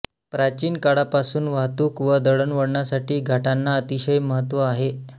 प्राचीन काळापासून वाहतूक व दळणवळणासाठी घाटांना अतिशय महत्त्व आहे